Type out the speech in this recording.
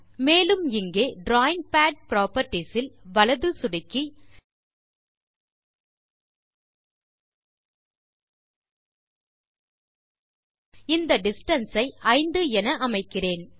மேலும் இங்கே drawing pad properties இல் வலது சொடுக்கி இந்த டிஸ்டன்ஸ் ஐ 5 என அமைக்கிறேன்